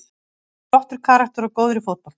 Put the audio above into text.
Hann er flottur karakter og góður í fótbolta.